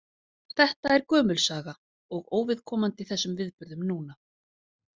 Þetta er gömul saga og óviðkomandi þessum viðburðum núna.